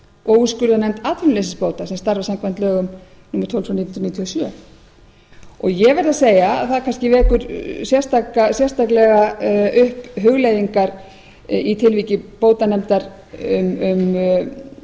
og úrskurðarnefnd atvinnuleysisbóta sem starfar samkvæmt lögum númer tólf nítján hundruð níutíu og sjö ég verð að segja það kannski vekur sérstaklega upp hugleiðingar í tilviki bótanefndar um